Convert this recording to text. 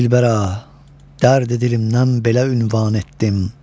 Dilbəra, dərd-i dilimdən bəla ünvan etdim.